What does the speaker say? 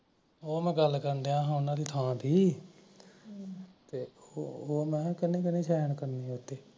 ਉਹ ਮੈਂ ਗੱਲ ਕਰਨ ਡਯਾ ਓਹਨਾ ਦੇ